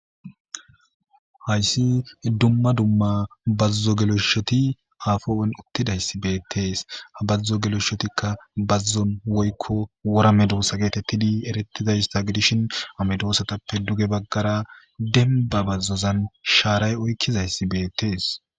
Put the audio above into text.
hayssi dumma dumma bazuzo geloyshoti aafowen uttidayssi beettees ha bazzo geloyshotikka bazzon woykko wora medoosa geetettidi erettidaysta gidishin amedoosatappe duge baggara demba bazzozan shaaray oykkizayssi beettees